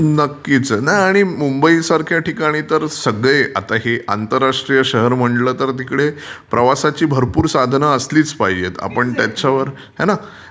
नक्कीच. नाही आणि मुंबईसारख्या ठिकाणी तर सगळे आता हे आंतर्राष्ट्रीय शहर म्हंटलं तर तिकडे प्रवासाची भरपूर साधन असलीच पाहिजेत. आपण त्याच्यावर... है ना.